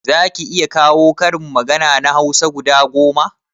Zaki iya kawo karin magana na hausa guda goma?